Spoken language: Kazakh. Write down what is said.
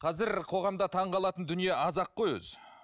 қазір қоғамда таңғалатын дүние аз ақ қой өзі